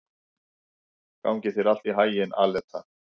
Gangi þér allt í haginn, Aleta.